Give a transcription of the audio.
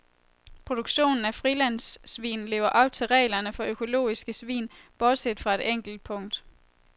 Produktionen af frilandssvin lever op til reglerne for økologiske svin bortset fra et enkelt punkt.